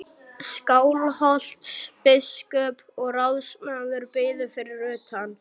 Skálholtsbiskup og ráðsmaður biðu fyrir utan.